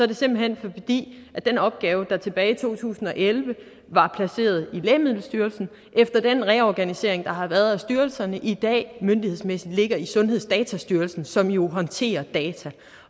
det simpelt hen fordi den opgave der tilbage i to tusind og elleve var placeret i lægemiddelstyrelsen efter den reorganisering der har været af styrelserne i dag myndighedsmæssigt ligger i sundhedsdatastyrelsen som jo håndterer data